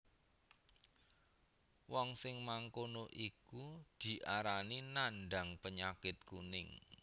Wong sing mangkono iku diarani nandhang panyakit kuning